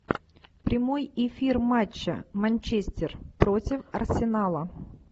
прямой эфир матча манчестер против арсенала